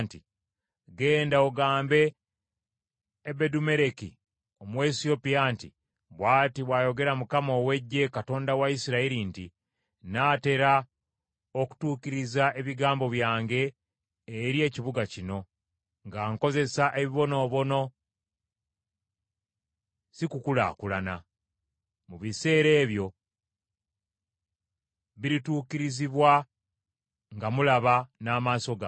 “Genda ogambe Ebedumeleki Omuwesiyopya nti, ‘Bw’ati bw’ayogera Mukama ow’Eggye, Katonda wa Isirayiri nti, Nnaatera okutuukiriza ebigambo byange eri ekibuga kino nga nkozesa ebibonoobono, si kukulaakulana. Mu biseera ebyo birituukirizibwa nga mulaba n’amaaso gammwe.